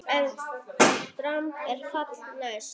EN DRAMB ER FALLI NÆST!